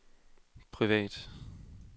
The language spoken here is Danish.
privat